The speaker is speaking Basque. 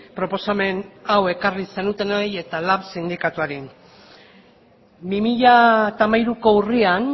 proposamen hau ekarri zenutenoi eta lab sindikatuari bi mila hamairuko urrian